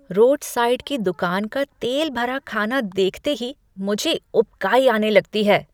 Road side की दुकान का तेल भरा खाना देखते ही मुझे उबकाई आने लगती है।